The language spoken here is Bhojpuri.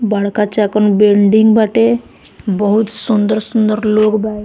बड़का चाका बिल्डिंग बाटे बहुत सुन्दर-सुन्दर लोग बा।